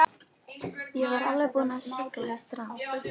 Ég var alveg búinn að sigla í strand.